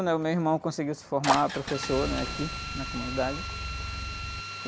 né? O meu irmão conseguiu se formar professor, né? Aqui na comunidade.